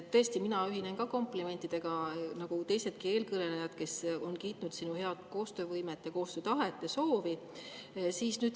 Tõesti, mina ühinen ka komplimentidega nagu teisedki eelkõnelejad, kes on kiitnud sinu head koostöövõimet, koostöötahet ja ‑soovi.